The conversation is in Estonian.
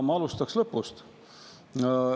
Ma alustan lõpust.